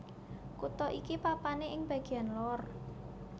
Kutha iki papané ing bagéyan lor